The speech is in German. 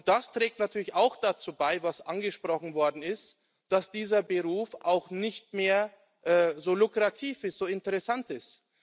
Das trägt natürlich auch dazu bei was angesprochen worden ist dass dieser Beruf nicht mehr so lukrativ ist, so interessant ist.